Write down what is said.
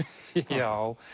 já